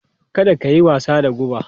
Kada ka yi wasa da guba!